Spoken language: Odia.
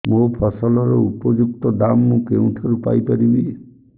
ମୋ ଫସଲର ଉପଯୁକ୍ତ ଦାମ୍ ମୁଁ କେଉଁଠାରୁ ପାଇ ପାରିବି